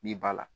N'i b'a la